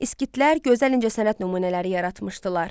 Skitlər gözəl incəsənət nümunələri yaratmışdılar.